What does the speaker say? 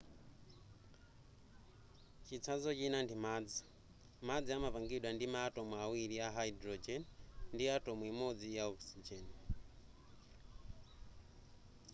chitsanzo china ndi madzi madzi amapangidwa ndi ma atom awiri a hydrogen ndi atom imodzi ya oxygen